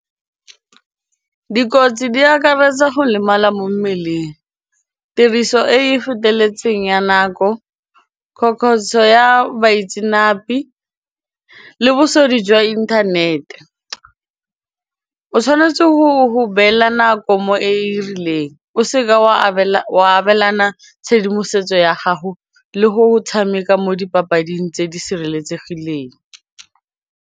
Dikotsi di akaretsa go lemala mo mmeleng, tiriso e e feteletseng ya nako ya baitsenape le jwa inthanete, o tshwanetse go beela nako mo e e rileng o seke wa abelana tshedimosetso ya gago le go tshameka mo dipapading tse di sireletsegileng.